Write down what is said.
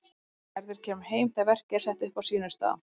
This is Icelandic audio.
Gerður kemur heim þegar verkið er sett upp á sínum stað.